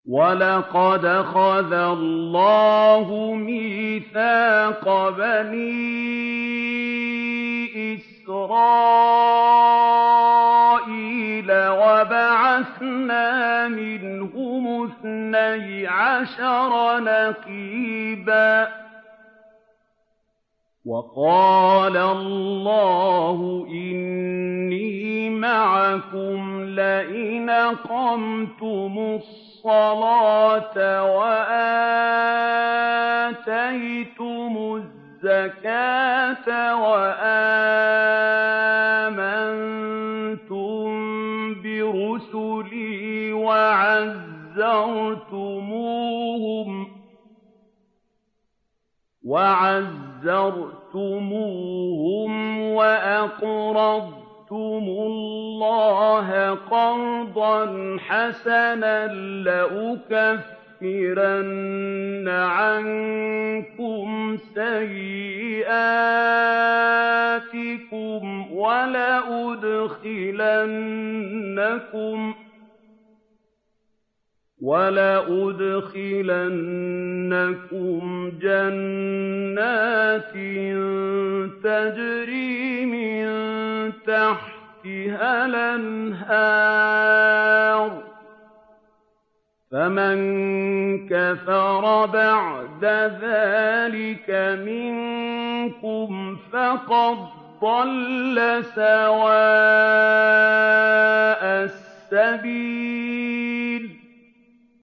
۞ وَلَقَدْ أَخَذَ اللَّهُ مِيثَاقَ بَنِي إِسْرَائِيلَ وَبَعَثْنَا مِنْهُمُ اثْنَيْ عَشَرَ نَقِيبًا ۖ وَقَالَ اللَّهُ إِنِّي مَعَكُمْ ۖ لَئِنْ أَقَمْتُمُ الصَّلَاةَ وَآتَيْتُمُ الزَّكَاةَ وَآمَنتُم بِرُسُلِي وَعَزَّرْتُمُوهُمْ وَأَقْرَضْتُمُ اللَّهَ قَرْضًا حَسَنًا لَّأُكَفِّرَنَّ عَنكُمْ سَيِّئَاتِكُمْ وَلَأُدْخِلَنَّكُمْ جَنَّاتٍ تَجْرِي مِن تَحْتِهَا الْأَنْهَارُ ۚ فَمَن كَفَرَ بَعْدَ ذَٰلِكَ مِنكُمْ فَقَدْ ضَلَّ سَوَاءَ السَّبِيلِ